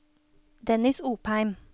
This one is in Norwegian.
Dennis Opheim